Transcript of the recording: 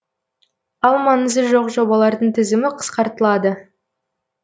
ал маңызы жоқ жобалардың тізімі қысқартылады